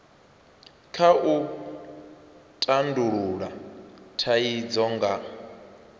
kha u tandulula thaidzo nga